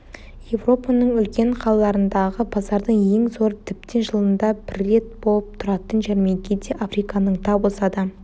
еуропаның үлкен қалаларындағы базардың ең зоры тіптен жылында бір рет болып тұратын жәрмеңке де африканың тап осы адам